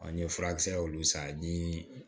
An ye furakisɛ olu san ni